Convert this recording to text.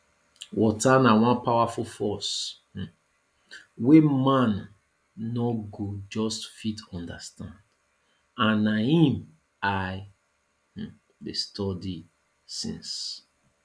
water na one powerful force um wey man no go just fit understand and na im i um dey study since